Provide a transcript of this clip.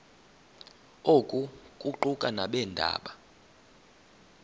oku kuquka nabeendaba